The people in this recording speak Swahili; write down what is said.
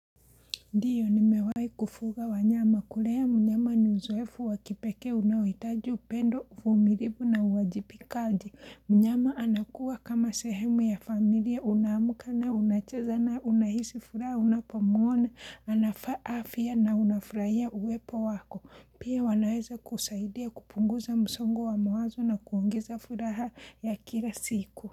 Ndiyo ni mewahi kufuga wanyama kulea mnyama ni nzwefu wakipekee unawitaji upendo, uvumilifu na uwajibikaji. Mnyama anakuwa kama sehemu ya familia una amka, unachezanaye, unahisi furaha, unapamuona, anafa afya na unafurahia uwepo wako. Pia wanaweza kusaidia kupunguza msongo wa mawazo na kuongeza furaha ya kila siku.